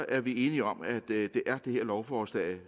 er vi enige om at det er det lovforslag